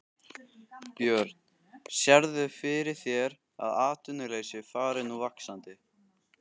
Björn: Sérðu fyrir þér að atvinnuleysi fari nú vaxandi?